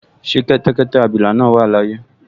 Ṣé kẹ́tẹ́kẹ́tẹ́ abilà náà wà láyé?